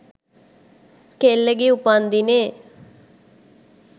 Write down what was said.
කෙල්ලගෙ උපන්දිනේ